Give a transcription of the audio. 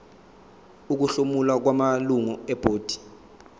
ukuhlomula kwamalungu ebhodi